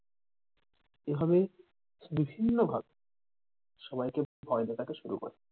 এভাবে বিভিন্ন ভাবে সবাইকে ভয় দেখতে শুরু করে।